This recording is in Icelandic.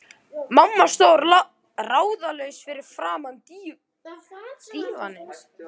Mamma stóð ráðalaus fyrir framan dívaninn.